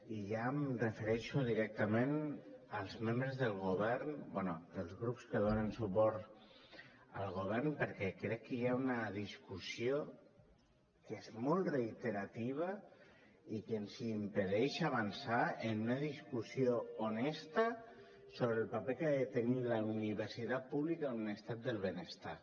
i ja em refereixo directament als membres del govern bé dels grups que donen suport al govern perquè crec que hi ha una discussió que és molt reiterativa i que ens impedeix avançar en una discussió honesta sobre el paper que ha de tenir la universitat pública en un estat del benestar